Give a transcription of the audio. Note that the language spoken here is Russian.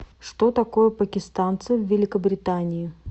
что такое пакистанцы в великобритании